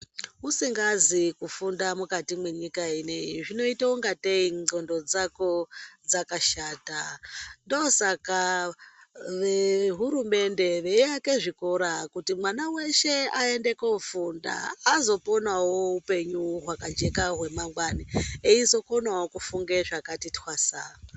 Usingazi kufunda mukati mwenyika ineyi zvinoite ngatei ndxondo dzako dzakashata, ndosaka vehurumende veiake zvikora kuti mwana weshe ayende kofunda azoponawo upenyu hwakajeka hwemangwani eizokona kufunge zvakati twasa.